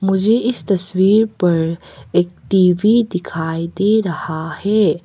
मुझे इस तस्वीर पर एक टी_वी दिखाई दे रहा है।